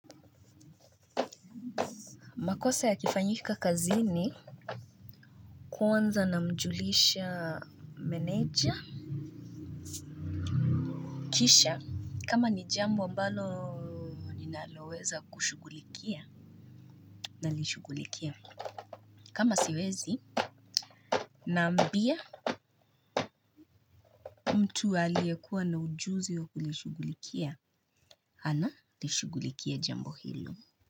Makosa yakifanyika kazini. Kwanza namjulisha meneja. Kisha kama ni jambo ambalo ninaloweza kushughulikia. Nalishughulikia. Kama siwezi Naambia Tu aliyekuwa na ujuzi wa kulishughulikia analishughulikia jambo hilo.